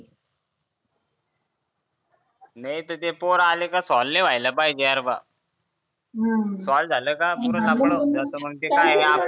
नाहीतर ते पोरं आले की सोल्व नी व्हायला पाहिजे भो सॉल झालं की